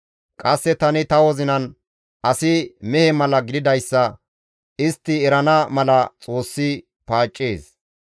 Qasse tani ta wozinan, «Asi mehe mala gididayssa istti erana mala Xoossi paaccees.